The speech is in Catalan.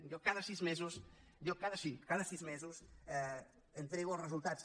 jo cada sis mesos sí cada sis mesos entrego els resultats